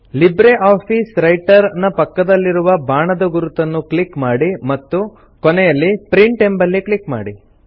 LibreOffice Writer ನ ಪಕ್ಕದಲ್ಲಿರುವ ಬಾಣದ ಗುರುತನ್ನು ಕ್ಲಿಕ್ ಮಾಡಿ ಮತ್ತು ಕೊನೆಯಲ್ಲಿ ಪ್ರಿಂಟ್ ಎಂಬಲ್ಲಿ ಕ್ಲಿಕ್ ಮಾಡಿ